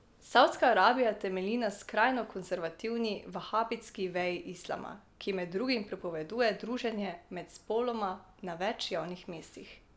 Savdska Arabija temelji na skrajno konservativni vahabitski veji islama, ki med drugim prepoveduje druženje med spoloma na več javnih mestih.